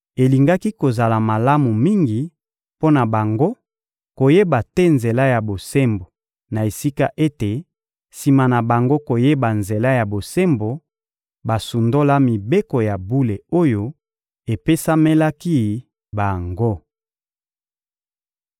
Elingaki kozala malamu mingi mpo na bango koyeba te nzela ya bosembo, na esika ete, sima na bango koyeba nzela ya bosembo, basundola mibeko ya bule oyo epesamelaki bango.